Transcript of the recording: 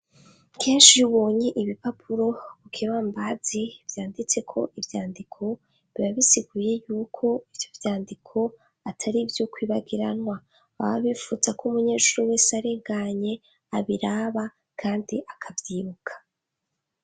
Kenshi iyo ubonye ibipapuro kibambazi vyanditseko ivyandiko biba bisiguye yuko ivyo vyandiko atari ivyo kwibagiranwa baba bipfuza ko umunyejuru wese arenganye abiraba kandi akavyibuka.